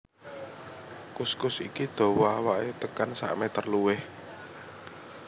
Kuskus iki dawa awaké tekan sakmétér luwih